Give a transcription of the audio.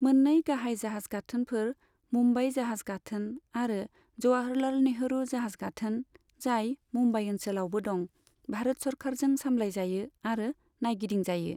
मोन्नै गाहाय जाहाज गाथोनफोर, मुम्बाइ जाहाज गाथोन आरो जवाहरलाल नेहरू जाहाज गाथोन, जाय मुम्बाइ ओनसोलावबो दं, भारत सोरखारजों सामलायजायो आरो नायगिदिंजायो।